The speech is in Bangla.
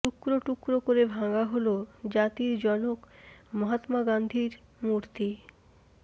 টুকরো টুকরো করে ভাঙা হল জাতির জনক মহাত্মা গান্ধীর মূর্তি